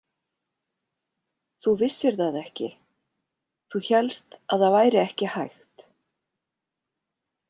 Þú vissir það ekki, þú hélst að það væri ekki hægt.